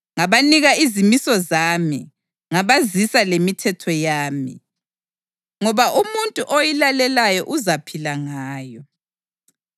Ngabanika izimiso zami ngabazisa lemithetho yami, ngoba umuntu oyilalelayo uzaphila ngayo.